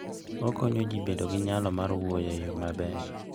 Okonyo ji bedo gi nyalo mar wuoyo e yo maber.